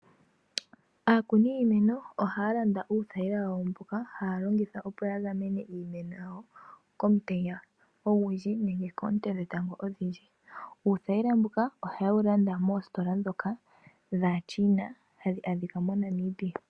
Aakuni yiimeno ohaya landa uuthayila wawo mboka, haya longitha opo ya gamene iimeno yawo komutenya ogundji nenge koonte dhetango odhindji. Uuthayila mbuka oha yewu landa moositola ndhoka dhaaChina hadhi adhika mo Namibia.